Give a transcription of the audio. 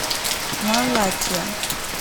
малатья